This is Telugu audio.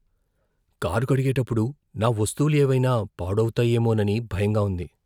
కారు కడిగేటప్పుడు నా వస్తువులు ఏవైనా పాడవుతాయేమోనని భయంగా ఉంది.